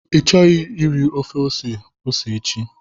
Ịchọghị iri ofe ose ose echi?